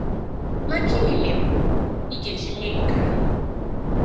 Ma gịnị mere ị ga-eji mee nke ahụ?